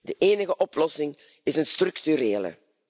De enige oplossing is een structurele.